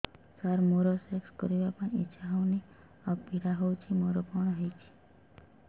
ସାର ମୋର ସେକ୍ସ କରିବା ପାଇଁ ଇଚ୍ଛା ହଉନି ଆଉ ପୀଡା ହଉଚି ମୋର କଣ ହେଇଛି